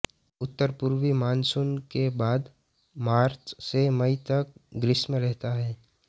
उत्तरपूर्वी मानसून के बाद मार्च से मई तक ग्रीष्म रहता है